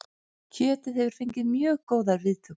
Kjötið hefur fengið mjög góðar viðtökur